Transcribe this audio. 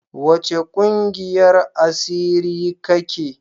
Wace kungiyar asiri ka ke?